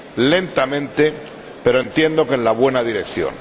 lentamente, pero entiendo que en la buena dirección.